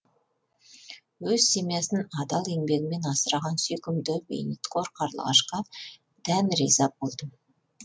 өз семьясын адал еңбегімен асыраған сүйкімді бейнетқор қарлығашқа дән риза болдым